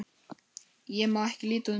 Ég má ekki líta undan.